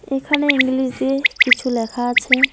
এখানে ইংলিশে কিছু লেখা আছে।